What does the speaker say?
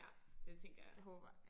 Ja det tænker jeg